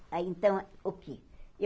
Ah então, o quê?